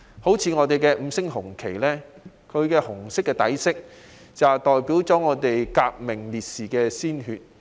正如我們國家的五星紅旗，紅色代表了革命烈士的鮮血。